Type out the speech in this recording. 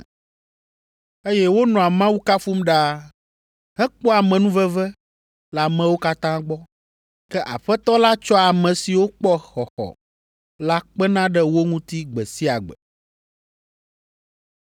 eye wonɔa Mawu kafum ɖaa, hekpɔa amenuveve le amewo katã gbɔ. Ke Aƒetɔ la tsɔa ame siwo kpɔ xɔxɔ la kpena ɖe wo ŋuti gbe sia gbe.